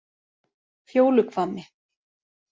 Fjóluhvammi